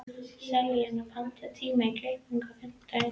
Selina, pantaðu tíma í klippingu á fimmtudaginn.